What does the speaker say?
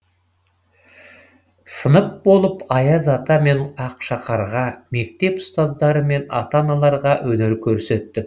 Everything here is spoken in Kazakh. сынып болып аяз ата мен ақшақарға мектеп ұстаздары мен ата аналарға өнер көрсеттік